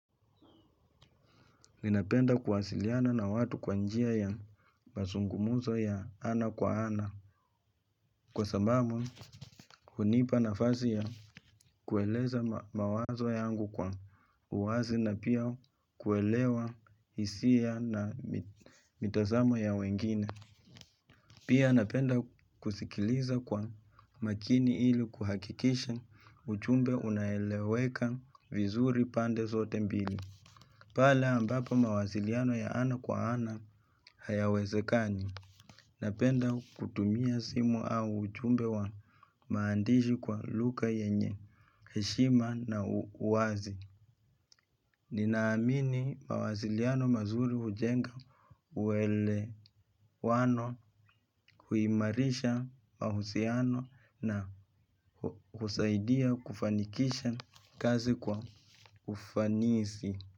Ninapenda kuwasiliana na watu kwa njia ya masungumuzo ya ana kwa ana. Kwa sababu, unipa nafasi ya kueleza mawazo yangu kwa uwazi na pia kuelewa hisia na mitasamo ya wengine. Pia napenda kusikiliza kwa makini ili kuhakikisha uchumbe unaeleweka vizuri pande zote mbili. Pale ambapo mawasiliano ya ana kwa ana hayawezekani. Napenda kutumia simu au ujumbe wa maandishi kwa lugha yenye heshima na uwazi. Ninaamini mawasiliano mazuri hujenga uwelewano huimarisha mahusiano na husaidia kufanikisha kazi kwa ufanisi.